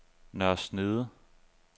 Nørre Snede